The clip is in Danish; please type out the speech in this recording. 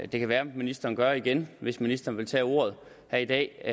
det kan være at ministeren gør det igen hvis ministeren vil tage ordet her i dag